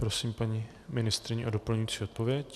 Prosím paní ministryni o doplňující odpověď.